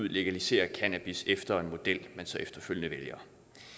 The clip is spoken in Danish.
ud legaliserer cannabis efter en model man så efterfølgende vælger